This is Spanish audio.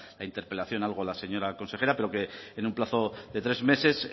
la interpelación algo la señora consejera pero que en un plazo de tres meses